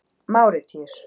Máritíus